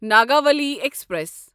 Nagavali express